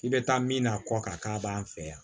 I bɛ taa min na a kɔ kan k'a b'an fɛ yan